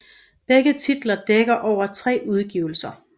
Begge titler dækker over tre udgivelser